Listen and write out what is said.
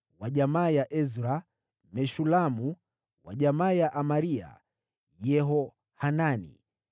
wa jamaa ya Ezra, Meshulamu; wa jamaa ya Amaria, Yehohanani;